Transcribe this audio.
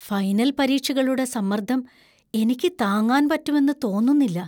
Final പരീക്ഷകളുടെ സമ്മർദ്ദം എനിക്ക് താങ്ങാൻ പറ്റുമെന്ന് തോന്നുന്നില്ല.